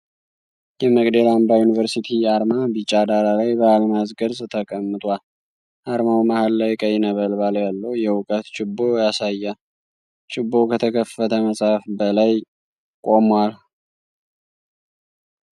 የመቅደላ አምባ ዩኒቨርሲቲ አርማ ቢጫ ዳራ ላይ በአልማዝ ቅርጽ ተቀምጧል። አርማው መሃል ላይ ቀይ ነበልባል ያለው የእውቀት ችቦ ያሳያል። ችቦው ከተከፈተ መጽሐፍ በላይ ቆሟል።